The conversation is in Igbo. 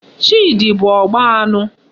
Chidi bu Ogba anu